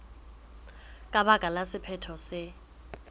ka baka la sephetho se